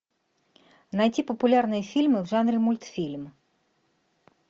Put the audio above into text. найти популярные фильмы в жанре мультфильм